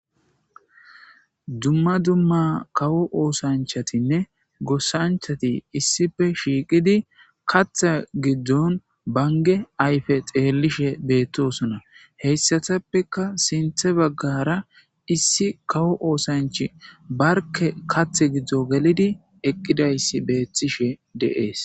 dumma dumma kawo oosanchatinne gossanchati issife shiiqidi katha giddon bange ayfe xeellishe beettosona heyssatappeka sinthe baggara issi kawo oosanchi barke kathe giddo gelidi eqqidayssi beethtishe deees